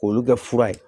K'olu kɛ fura ye